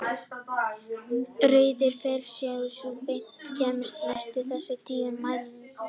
Rauði ferillinn er sú beina lína sem kemst næst þessum tíu mæliniðurstöðum.